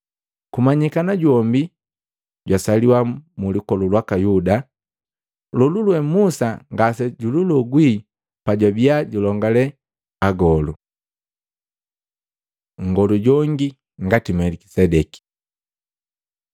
Kumanyikana jombi jwasaliwa mu lukolu lwaka Yuda lolulwe Musa ngasejwililogwi pajwabia julongale agolu. Nngolu jongi ngati Melikisedeki